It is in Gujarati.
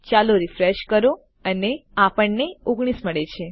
ચાલો રીફ્રેશ કરો અને આપણને ૧૯ મળે છે